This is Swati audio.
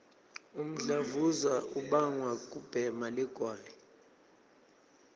umdlavuza ubangwa kubhema ligwayi